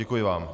Děkuji vám.